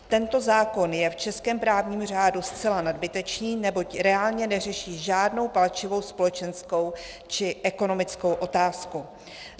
Tento zákon je v českém právním řádu zcela nadbytečný, neboť reálně neřeší žádnou palčivou, společenskou či ekonomickou otázku.